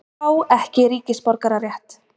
Fá ekki ríkisborgararétt